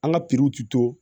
An ka pikiri ti to